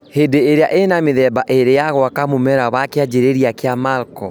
Hĩndĩ ĩrĩa ĩna ,mĩthmba ĩrĩ ya gwaka mũmera wa kĩanjĩrĩria kĩa macro